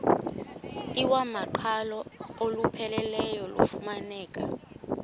iwamaqhalo olupheleleyo lufumaneka